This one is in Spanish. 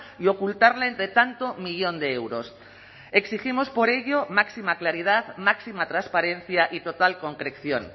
y ocultarla entre tanto millón de euros exigimos por ello máxima claridad máxima transparencia y total concreción